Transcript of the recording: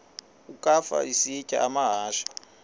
ukafa isitya amahashe